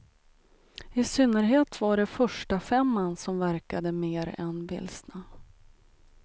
I synnerhet var det förstafemman som verkade mer än vilsna.